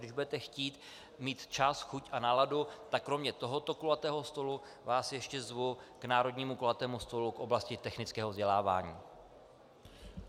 Když budete chtít, mít čas, chuť a náladu, tak kromě tohoto kulatého stolu vás ještě zvu k národnímu kulatému stolu v oblasti technického vzdělávání.